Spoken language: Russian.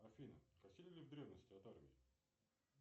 афина косили ли в древности от армии